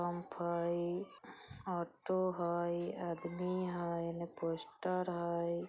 ऑटो हय आदमी हय एन्ने पोस्टर हय।